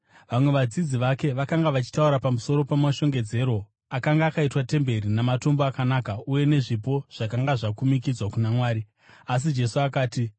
Vamwe vadzidzi vake vakanga vachitaura pamusoro pamashongedzerwo akanga akaitwa temberi namatombo akanaka uye nezvipo zvakanga zvakumikidzwa kuna Mwari. Asi Jesu akati,